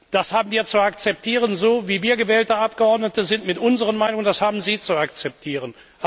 das haben wir zu akzeptieren, so, wie wir gewählte Abgeordnete sind mit unseren Meinungen, das haben Sie zu akzeptieren.